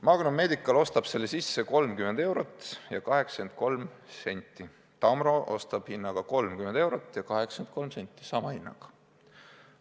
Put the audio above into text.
Magnum Medical ostab selle sisse hinnaga 30 eurot ja 83 senti, Tamro ostab hinnaga 30 eurot ja 83 senti ehk siis sama hinnaga.